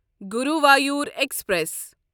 Guruvayur express